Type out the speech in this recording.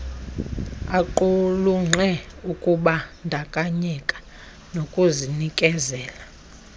aqulunqe ukubandakanyeka nokuzinikezela